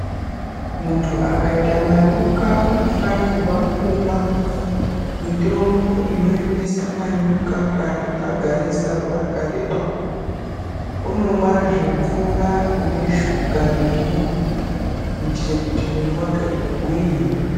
Muntu akaita manyoka anofanirwa kumwa mitombo inoemesa manyoka kana agarisa nguwa yakareba unomwazve mvura ine shuga nemunyu kuitira kuti mwiri wake ugwinye.